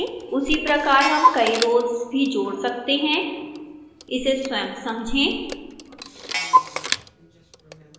उसी प्रकार हम कई rows भी जोड़ सकते हैं इसे स्वयं समझें